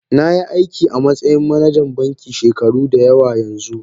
Na yi aiki a matsayin manajan banki shekaru da yawa yanzu